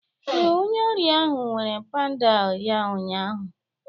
Ee, onye ọrịa ahụ were pandal ya ụnyaahụ